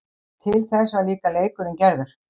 Til þess var líka leikurinn gerður.